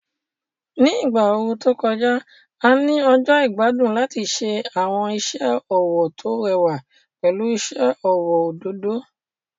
Ní ìgbà ooru tó kọjá, a ní ọjọ́ ìgbádùn láti ṣe àwọn iṣẹ́ ọwọ́ tó rẹwà pẹ̀lú iṣẹ́ ọwọ́ òdòdó.